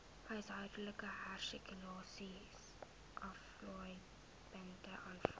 huishoudelike hersirkuleringsaflaaipunte aanvaar